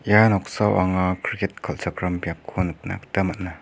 ia noksao anga kriket kal·chakram biapko nikna gita man·a.